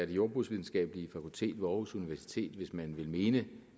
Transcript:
det jordbrugsvidenskabelige fakultet ved aarhus universitet hvis man ville mene